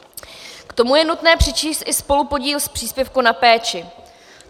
K tomu je nutné přičíst i spolupodíl z příspěvku na péči.